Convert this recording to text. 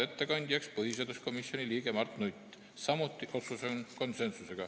Ettekandjaks määrati põhiseaduskomisjoni liige Mart Nutt, samuti konsensuslik otsus.